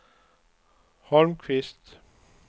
Holmqvist